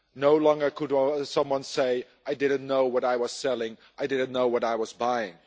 No longer can someone say I didn't know what I was selling', or I didn't know what I was buying'.